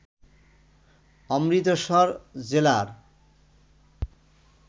অমৃতসর জেলার